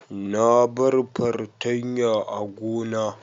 Na bar fartanya a gona.